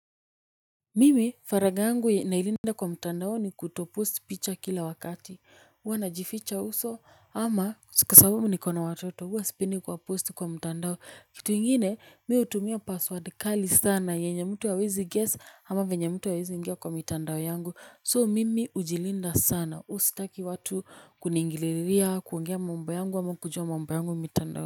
Mimi faragha yangu nailinda kwa mtandao ni kutoposti picha kila wakati huwa najificha uso ama siku sababu niko na watoto huwa sipendi kuwaposti kwa mtandao. Kitu kingine, mimi hutumia 'password' kali sana yenye mtu hawezi 'guess' ama venye mtu hawezi ingia kwa mitandao yangu. So mimi hujilinda sana, huwa sitaki watu kuniingilia, kuongea mambo yangu ama kujua mambo yangu ya mitandao.